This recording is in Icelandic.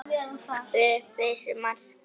Upp að vissu marki.